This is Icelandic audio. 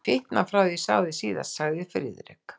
Þú hefur fitnað frá því ég sá þig síðast sagði Friðrik.